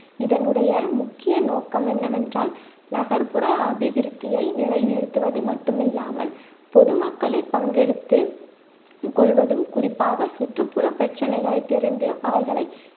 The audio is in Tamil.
இதனுடைய முக்கிய நோக்கம் என்னவென்றால் நகர்ப்புற அபிவிருத்தியை நிலை நிறுத்துவது மட்டுமில்லாமல் பொதுமக்களை பங்கெடுத்து கொள்வதும் குறிப்பாக சுற்றுப்புற பிரச்சனைகளை தெரிந்து அவர்களை